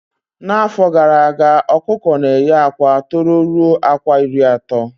Na afọ gara aga okuko na eye akwa tọrọ ruo akwa iri ato